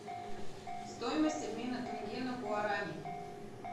стоимость обмена тенге на гуарани